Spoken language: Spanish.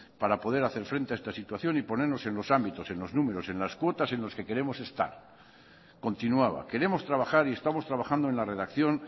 para poder hacer frente a esta situación y ponernos en los ámbitos en los números y en las cuotas en los que queremos estar continuaba queremos trabajar y estamos trabajando en la redacción